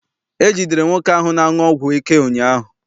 E jidere nwoke ahụ na-aṅụ ọgwụ ike ụnyaahụ.